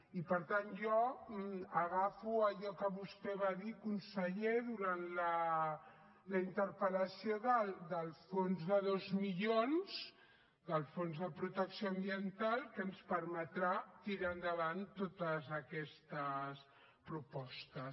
i per tant jo agafo allò que vostè va dir conseller durant la interpel·lació del fons de dos milions del fons de protecció ambiental que ens permetrà tirar endavant totes aquestes propostes